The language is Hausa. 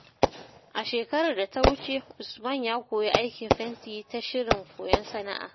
A shekarar da ta wuce, Usman ya koyi aikin fenti ta shirin koyon sana’a.